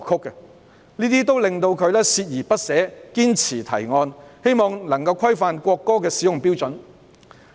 這些情況令他鍥而不捨，堅持提案，冀能規範國歌的使用標準。